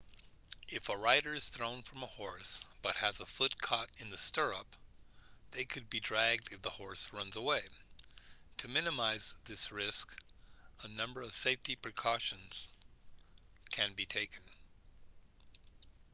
if a rider is thrown from a horse but has a foot caught in the stirrup they could be dragged if the horse runs away to minimize this risk a number of safety precautions can be taken